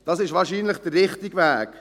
Das ist wahrscheinlich der richtige Weg.